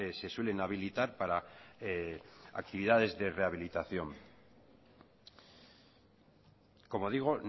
se suelen habilitar para actividades de rehabilitación como digo